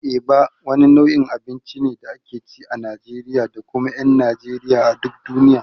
Eba wani nau'in abinci ne da ake ci a Najeriya da kuma ƴan Najeriya a duk duniya.